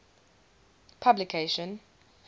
publication